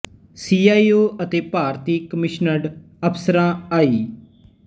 C I O ਅਤੇ ਭਾਰਤੀ commissioned ਅਫਸਰਾਂ ਆਈ